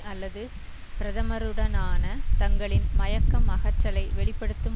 அல்லது பிரதமருடனான தங்களின் மயக்கம் அகற்றலை வெளி படுத்தும்